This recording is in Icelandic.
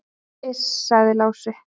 """Iss, sagði Lási."""